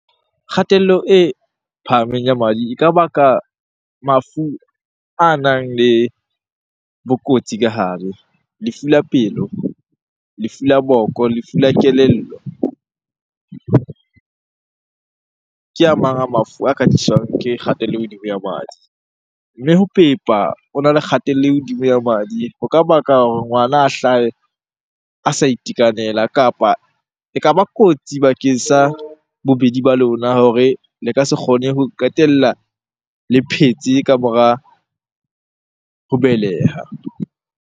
Kgatello e phahameng ya madi e ka baka mafu a nang le bokotsi ka hare. Lefu la pelo, lefu la boko, lefu la kelello ke a mang a mafu a ka tliswang ke kgatello e hodimo ya madi. Mme ho pepa hona le kgatello e hodimo ya madi. Ho ka baka hore ngwana a hlahe a sa itekanela kapa ekaba kotsi bakeng sa bobedi ba lona hore le ka se kgone ho qetella le phetse ka mora ho beleha.